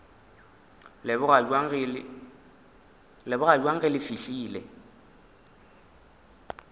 leboga bjang ge le fihlile